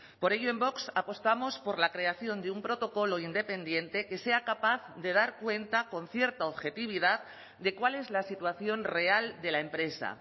por ello en vox apostamos por la creación de un protocolo independiente que sea capaz de dar cuenta con cierta objetividad de cuál es la situación real de la empresa